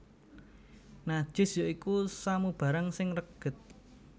Najis ya iku samubarang sing reged